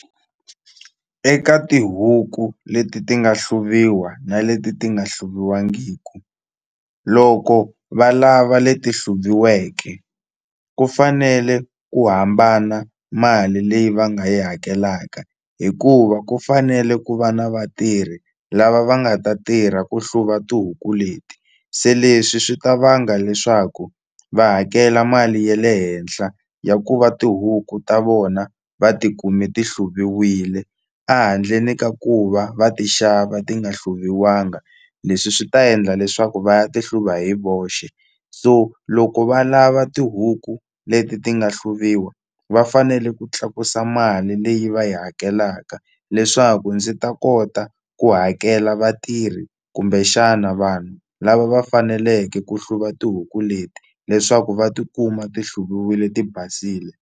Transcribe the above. Eka tihuku leti ti nga hluvuwa na leti ti nga hluviwangiku loko valava leti hluviweke ku fanele ku hambana mali leyi va nga yi hakelaka hikuva ku fanele ku va na vatirhi lava va nga ta tirha ku hluva tihuku leti se leswi swi ta vanga leswaku va hakela mali ya le henhla ya ku va tihuku ta vona va tikume ti hluviwile a handleni ka ku va va ti xava ti nga hluviwanga leswi swi ta endla leswaku va ya ti hluva hi voxe so loko va lava tihuku leti ti nga hluviwa va fanele ku tlakusa mali leyi va yi hakelaka leswaku ndzi ta kota ku hakela vatirhi kumbe xana vanhu lava va faneleke ku hluva tihuku leti leswaku va tikuma ti hluviwile ti basile.